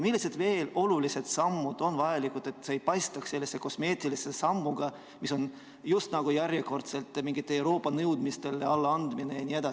Millised olulised sammud on veel vajalikud, et see ei paistaks välja sellise kosmeetilise sammuna, mis on järjekordselt just nagu mingitele Euroopa nõudmistele allaandmine?